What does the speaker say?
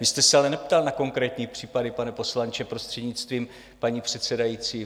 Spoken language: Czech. Vy jste se ale neptal na konkrétní případy, pane poslanče, prostřednictvím paní předsedající.